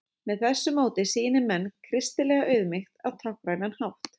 með þessu móti sýni menn kristilega auðmýkt á táknrænan hátt